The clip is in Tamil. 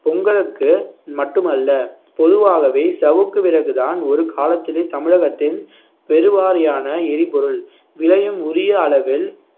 பொங்கலுக்கு மட்டுமல்ல பொதுவாகவே சவுக்கு விறகுதான் ஒரு காலத்திலே தமிழகத்தின் பெருவாரியான எரிபொருள் விலையும் உரிய அளவில்